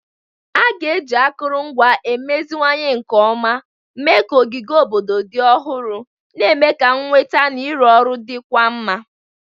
A ga-eji akụrụngwa emeziwanye nke ọma mee ka ogige obodo dị ọhụrụ, na-eme ka nnweta na ịrụ ọrụ dịkwuo mma.